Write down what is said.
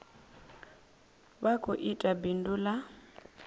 vha khou ita bindu ḽa